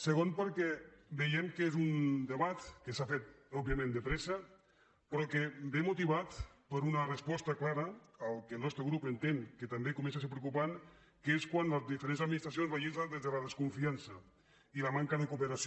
segon perquè veiem que és un debat que s’ha fet òbviament de pressa però que ve motivat per una resposta clara que el nostre grup entén que comença a ser preocupant que és quan les diferents administracions legislen des de la desconfiança i la manca de cooperació